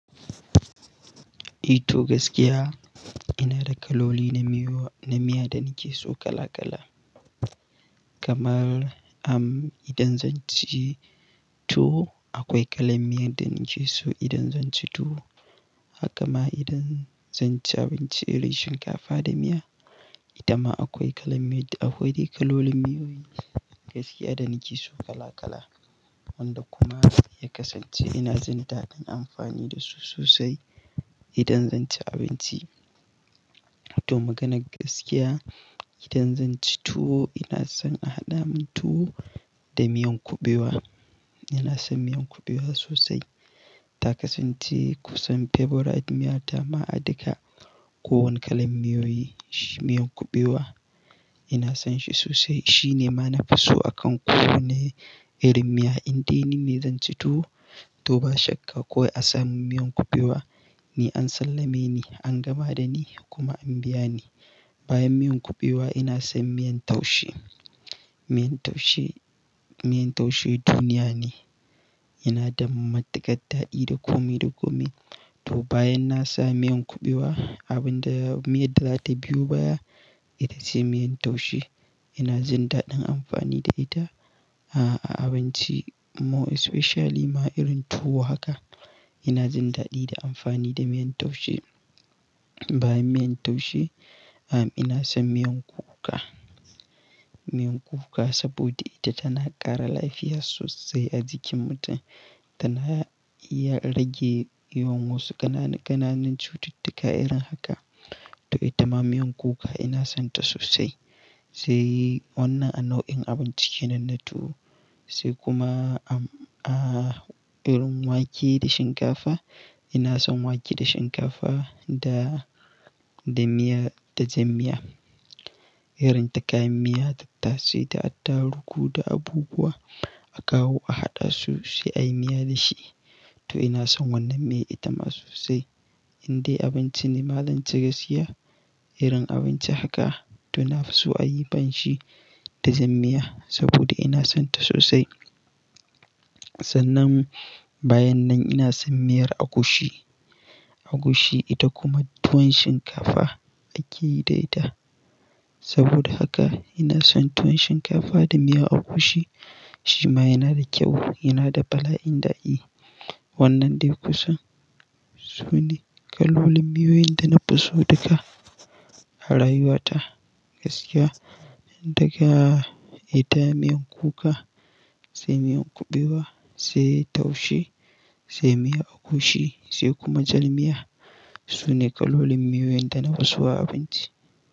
Eh to gaskiya ina da kaloli na miyo-- na miya da nake so kala kala. Kamar am idan zan ci tuwo akwai kalan miyar da nake so idan zan ci tuwo. Haka ma idan zan ci abinci irin shinkafa da miya, ita ma akwai kalan miya. Akwai kalolin miyoyi gaskiya da nake so kala kala wanda kuma ya kasance ina jin daɗin amfani da su sosai idan zan ci abinci. To maganar gaskiya idan zan ci tuwo ina son a haɗa min tuwo da miyan kuɓewa. Ina son miyan kuɓewa sosai. Ta kasance kusan favorite miyata ma a daka. Kowane kalan miyoyi, shi miyan kuɓewa ina son shi sosai. Shi ne ma nafi so a kan kowane irin miya indai nine zan ci tuwo to ba shakka kawai a samun miyan kuɓewa, ni an sallame ni, an gama da ni kuma an biya ni. Bayan miyan kuɓewa ina son miyan taushe. Miyar taushe, miyan taushe duniya ne. Yana da matuƙar daɗi da komi da komi. To bayan na sami miyan kuɓewa, abin da-- miya da za ta biyo baya ita ce miyan taushe. Ina jin daɗin amfani da ita a, a abinci more especially ma irin tuwo haka. Ina zin daɗi da amfani da miyan taushe. Bayan miyan taushe am ina son miyan kuka. Miyar kuka saboda ita tana ƙara lafiya sosai a jikin mutum. Tana iya rage yawan wasu ƙananan, ƙananan cututtuka irin haka. To ita ma miyan kuka ina son ta sosai. Sai wannan a nau'in abinci kenan na tuwo. Sai kuma a irin wake da shinkafa ina son wake da shinkafa da, da miya, da jan miya. Irin ta kayan miya, tattasai da attaruhu da abubuwa a kawo a haɗa su sai a yi miya da shi. To ina son wannan miya ita ma sosai. Indai abinci ne ma zanci gaskiya, irin abinci haka to nafi so a yi banshi da zan miya saboda ina son ta sosai. Sannan bayan nan ina son miyar agushi. Agushi ita kuma tuwon shinkafa ake yi da ita. Saboda haka ina son tuwon shinkafa da miya agushi. Shi ma yana da kyau, yana da bala'in daɗi. Wannan dai kusan su ne kalolin miyoyin da nafi so duka a rayuwata gaskiya. Daga ita miyan kuka, sai miyan kuɓewa, sai taushe, sai miya agushi sai kuma jar miya su ne kalolin miyoyin da nafi so a abinci.